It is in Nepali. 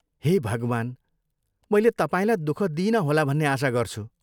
हे भगवान्! मैले तपाईँलाई दुःख दिइन होला भन्ने आशा गर्छु।